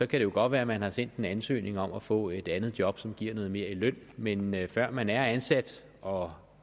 kan jo godt være at man har sendt en ansøgning om at få et andet job som giver noget mere i løn men men før man er ansat og